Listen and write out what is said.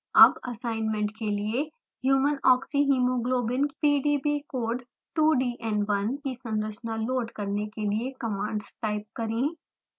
अब assignment के लिए